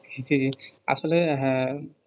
জ্বি জ্বি আসলে হ্যাঁ